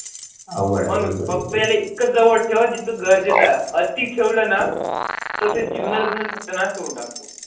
फक्त एकजवळ जिथं गरजेचे आहे अती ठेवलंना? तर ते जुने बोलत नाही करून टाकतो.